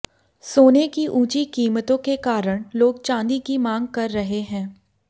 सोने की ऊंची कीमतों के कारण लोग चांदी की मांग कर रहे हैं